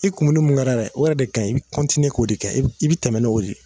I kumuni mun kɛrɛ dɛ o yɛrɛ de ka ɲi i bi kɔntiniye k'o yɛrɛ de kɛ i bi tɛmɛ n'o de ye